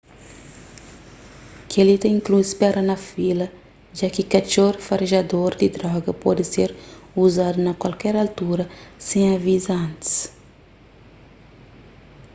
kel-li ta inklui spera na fila ja ki katxor farejador di droga pode ser uzadu na kualker altura sen aviza antis